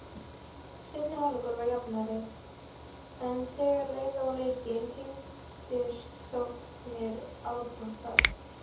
Seinni hálfleikurinn var jafnari en þegar leið á leikinn þyngdust sóknir Árborgar.